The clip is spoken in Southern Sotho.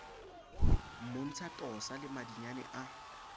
mmontsha tosa le madinyane a